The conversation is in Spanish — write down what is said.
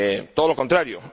Todo lo contrario.